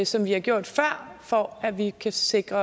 som vi har gjort før for at vi kan sikre